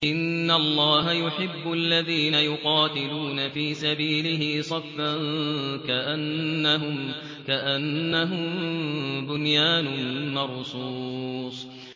إِنَّ اللَّهَ يُحِبُّ الَّذِينَ يُقَاتِلُونَ فِي سَبِيلِهِ صَفًّا كَأَنَّهُم بُنْيَانٌ مَّرْصُوصٌ